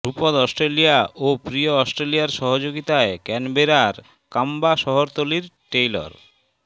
dhrupad Australia ও প্রিয় অস্ট্রেলিয়ার সহযোগিতায় ক্যানবেরার ক্যাম্বা শহরতলির টেইলর